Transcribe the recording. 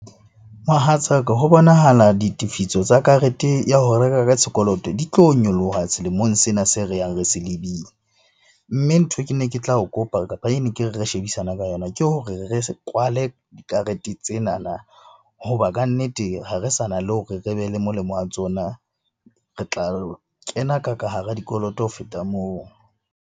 Mohatsaka ho bonahala ditefiso tsa karete ya ho reka ka sekoloto di tlo nyoloha selemong sena se re yang re se lebile. Mme nthwe ke ne ke tla o kopa, kapa e ne ke re re shebisane ka yona ke hore re kwale dikarete tsenana hoba kannete ha re sa na le hore re be le molemo wa tsona. Re tla lo kena kaka hara dikoloto ho feta moo.